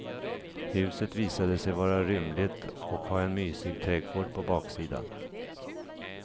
Huset visade sig vara rymligt och ha en mysig trädgård på baksidan.